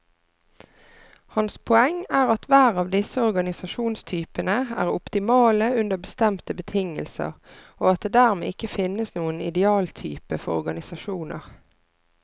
Hans poeng er at hver av disse organisasjonstypene er optimale under bestemte betingelser, og at det dermed ikke finnes noen idealtype for organisasjoner.